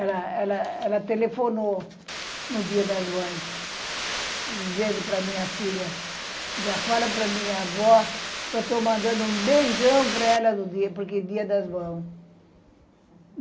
Ela, ela, ela telefonou no Dia das mães, dizendo para minha filha, fala para minha avó que eu estou mandando um beijão para ela Dia das mães